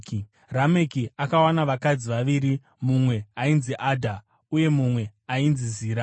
Rameki akawana vakadzi vaviri, mumwe ainzi Adha uye mumwe ainzi Zira.